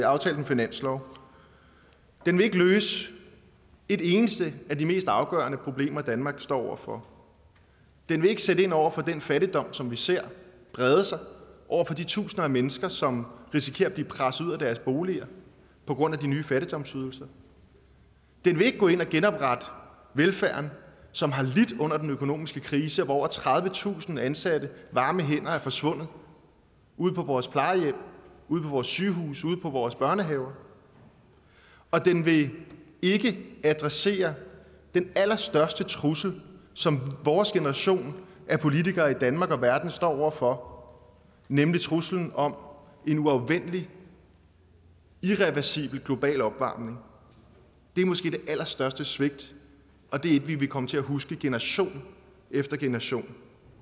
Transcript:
aftalt en finanslov den vil ikke løse et eneste af de mest afgørende problemer danmark står over for den vil ikke sætte ind over for den fattigdom som vi ser brede sig og over for de tusinder af mennesker som risikerer at blive presset ud af deres boliger på grund af de nye fattigdomsydelser den vil ikke gå ind og genoprette velfærden som har lidt under den økonomiske krise hvor over tredivetusind ansatte varme hænder er forsvundet ude på vores plejehjem ude på vores sygehuse ude i vores børnehaver og den vil ikke adressere den allerstørste trussel som vores generation af politikere i danmark og verden står over for nemlig truslen om en uafvendelig irreversibel global opvarmning det er måske det allerstørste svigt og det er et vi vil komme til at huske generation efter generation